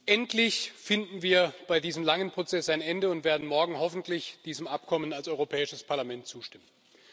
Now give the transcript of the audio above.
Endlich finden wir bei diesem langen Prozess ein Ende und werden morgen hoffentlich diesem Abkommen als Europäisches Parlament zustimmen.